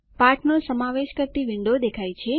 પાઠનો સમાવેશ કરતી વિન્ડો દેખાય છે